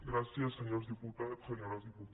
gràcies senyors diputats senyores diputades